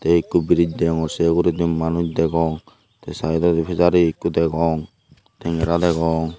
tey ikko briz degongor sei ugurey manuj degong tey saidodi fizari ikko degong tengera degong.